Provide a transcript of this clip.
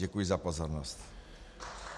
Děkuji za pozornost.